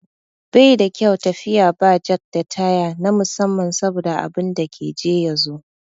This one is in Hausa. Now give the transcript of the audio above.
Baida kyau tafiya ba jak da taya na musamman saboda abinda ka je ya zo.